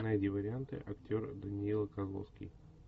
найди варианты актер данила козловский